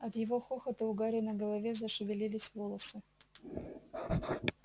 от его хохота у гарри на голове зашевелились волосы